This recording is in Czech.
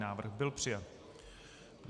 Návrh byl přijat.